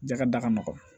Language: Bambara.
Jakɛda ka nɔgɔn